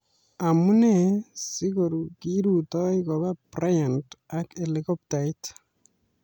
Amunee si kirutoi Kobe Bryant ak Helikoptait?